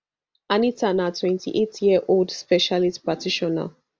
anita na twenty-eight year old specialist practitioner